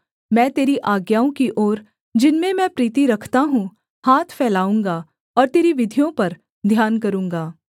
मैं तेरी आज्ञाओं की ओर जिनमें मैं प्रीति रखता हूँ हाथ फैलाऊँगा और तेरी विधियों पर ध्यान करूँगा